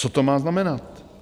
Co to má znamenat?